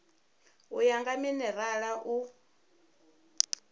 u ya nga minerala u